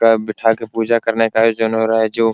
कब बिठा के पूजा करने का आयोजन रहा है जो --